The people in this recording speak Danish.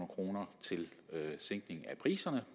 kroner til sænkning af priserne